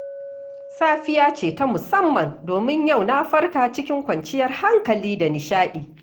Safiya ce ta musamman, domin yau na farka cikin kwanciyar hankali da nishaɗi.